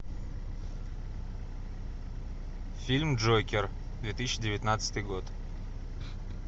фильм джокер две тысячи девятнадцатый год